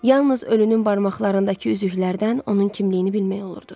Yalnız ölünün barmaqlarındakı üzüklərdən onun kimliyini bilmək olurdu.